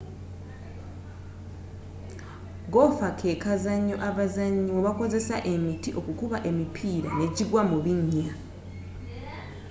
goofa kekazanyo abazanyi mwebakozesa emiti okukuba emipiira nejigwa mu binnya